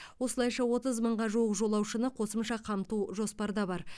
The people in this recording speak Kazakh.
осылайша отыз мыңға жуық жолаушыны қосымша қамту жоспарда бар